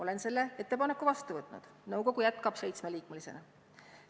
Olen selle ettepaneku vastu võtnud, nõukogu jätkab seitsmeliikmelisena.